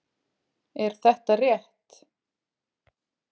Er þetta rétt?